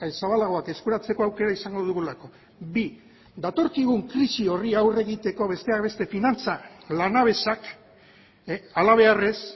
zabalagoak eskuratzeko aukera izango dugulako bi datorkigun krisi horri aurre egiteko besteak beste finantza lanabesak halabeharrez